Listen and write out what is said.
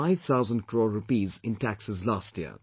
5 thousand crore rupees in taxes last year